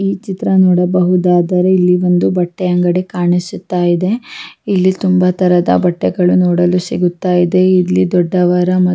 ಈ ಚಿತ್ರ ನೋಡಬಹುದಾದರೆ ಇಲ್ಲಿ ಒಂದು ಬಟ್ಟೆ ಅಂಗಡಿ ಕಾಣಿಸುತ್ತಾ ಇದೆ ಇಲ್ಲಿ ತುಂಬಾ ತರದ ಬಟ್ಟೆಗಳು ನೋಡಲು ಸಿಗುತ್ತ ಇದೆ ಇಲ್ಲಿ ದೊಡ್ಡವರ ಮತ್ತು--